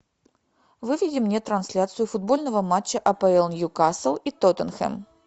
выведи мне трансляцию футбольного матча апл ньюкасл и тоттенхэм